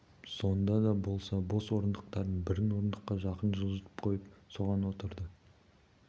сонда да болса бос орындықтардың бірін орындыққа жақын жылжытып қойып соған отырды